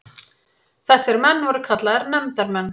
Þessir menn voru kallaðir nefndarmenn.